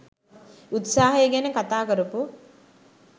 උත්සාහය ගැන කතා කරපු